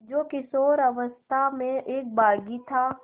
जो किशोरावस्था में एक बाग़ी था